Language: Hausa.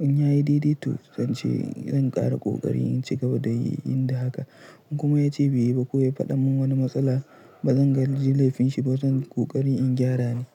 in ya yi didi to zan ƙara kokari in ci gaba da yin haka. In kuma ya ci biya ba ko ya faɗa min wani matsala, ba zan ga julefin shi ba, zan ƙoƙari in gyara ne.